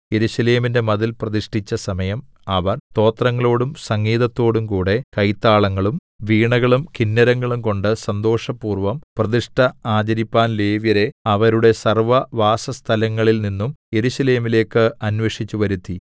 യെരൂശലേമിന്റെ മതിൽ പ്രതിഷ്ഠിച്ച സമയം അവർ സ്തോത്രങ്ങളോടും സംഗീതത്തോടുംകൂടെ കൈത്താളങ്ങളും വീണകളും കിന്നരങ്ങളുംകൊണ്ട് സന്തോഷപൂർവ്വം പ്രതിഷ്ഠ ആചരിപ്പാൻ ലേവ്യരെ അവരുടെ സർവ്വവാസസ്ഥലങ്ങളിൽ നിന്നും യെരൂശലേമിലേക്ക് അന്വേഷിച്ചു വരുത്തി